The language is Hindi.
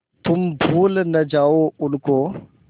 तुम भूल न जाओ उनको